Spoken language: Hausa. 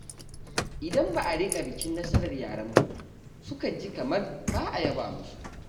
Idan ba a riƙa bikin nasarar yaranmu ba, su kan ji kamar ba a yaba musu.